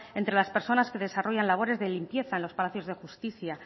entre las personas que desarrollan labores de limpieza en los palacios de justicia